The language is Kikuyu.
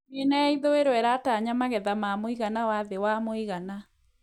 Miena ya ithũĩro ĩratanya magetha ma muigana na thĩ wa mũigana